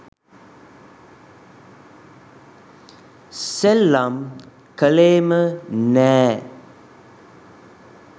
සෙල්ලම් කලේම නෑ